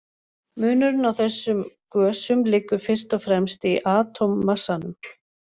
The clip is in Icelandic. Munurinn á þessum gösum liggur fyrst og fremst í atómmassanum.